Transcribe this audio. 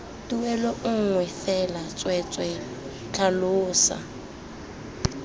tuelo nngwe fela tsweetswee tlhalosa